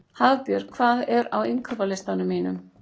Hafbjörg, hvað er á innkaupalistanum mínum?